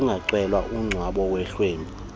kungacelwa umngcwabo wehlwempu